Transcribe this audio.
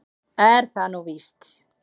Er það nú víst?